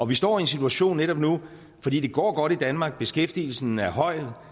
vi står i en situation netop nu fordi det går godt i danmark og beskæftigelsen er høj